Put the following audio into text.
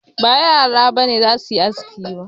Ba yara ba ne za su yi aski ba